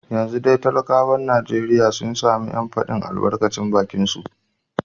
Yanzu dai talakawan Najeriya sun sami ‘yancin fadin albarkacin bakinsu